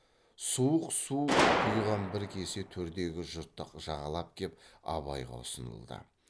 суық су құйған бір кесе төрдегі жұртты жағалап кеп абайға ұсынылды